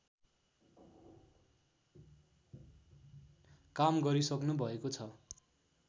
काम गरिसक्नुभएको छ